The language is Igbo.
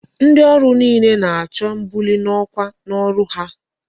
Ndi oru niile na-acho mbuli n'okwa n'ọrụ ha.